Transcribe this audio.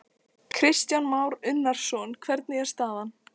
Kristján Már Unnarsson: Hvernig er staðan?